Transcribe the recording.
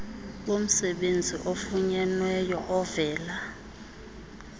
bomsebenzi ofunyenweyo ovela